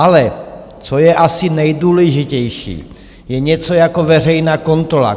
Ale co je asi nejdůležitější, je něco jako veřejná kontrola.